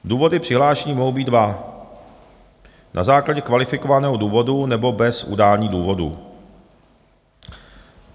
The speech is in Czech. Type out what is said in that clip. Důvody přihlášení mohou být dva, na základě kvalifikovaného důvodu nebo bez udání důvodu.